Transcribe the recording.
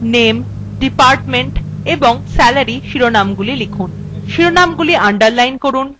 serial number name department এবং salaryশিরোনামগুলি লিখুন